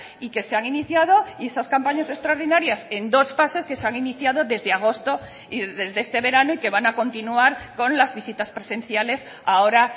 y que se han iniciado y esas campañas extraordinarias en dos fases que se han iniciado desde agosto y desde este verano y que van a continuar con las visitas presenciales ahora